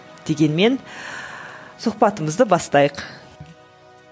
дегенмен сұхбатымызды бастайық